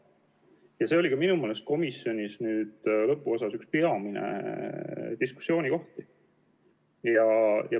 Ja see oli minu meelest komisjonis arutluse lõpuosas üks peamine diskussiooni teema.